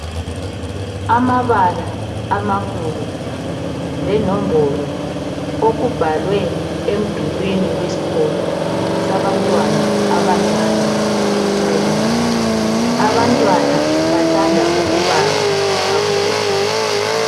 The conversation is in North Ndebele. Amabala amakhulu lenombolo okumbalwe emdulwini weskolo sabantwana abancane i 'primary '. Abantwana bathanda ukubala kakhulu.